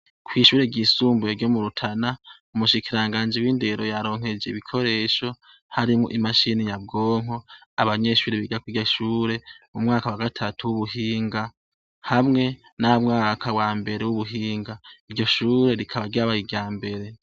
Kw'ishure ryisumbuye ryo mu Rutana, umushikiranganji w'indero yaronkeje ibikoresho harimwo imashini nyabwonko. Abanyeshure biga kuriryo shure, umwaka wagatatu w'ubuhinga hamwe n'umwaka wambere w'ubuhinga. Iryo shure rikaba ryabaye iryambere.